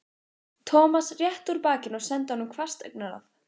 Thomas rétti úr bakinu og sendi honum hvasst augnaráð.